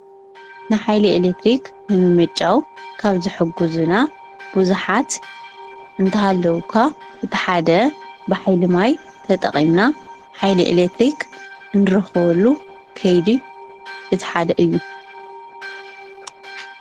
ንሓይሊ ኤሌትሪክ ንምምንጫው ካብ ዝሕግዙና ብዙሓት እንተሃለው እኳ እቲ ሓደ ብሓይሊ ማይ ተጠቒምና ሓይሊ ኤሌትሪክ እንረኽብሉ ከይዲ እቲ ሓደ እዩ፡፡